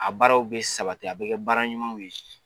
A baaraw bɛ sabati a bɛ kɛ baara ɲumanw ye